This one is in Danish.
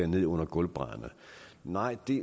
ned under gulvbrædderne nej det er